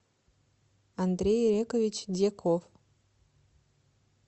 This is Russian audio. андрей ирекович дьяков